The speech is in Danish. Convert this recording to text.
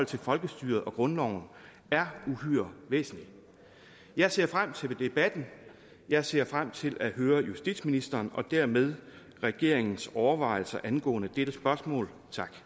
til folkestyret og grundloven er uhyre væsentligt jeg ser frem til debatten jeg ser frem til at høre justitsministeren og dermed regeringens overvejelser angående dette spørgsmål